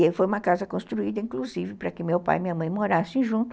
E foi uma casa construída, inclusive, para que meu pai e minha mãe morassem junto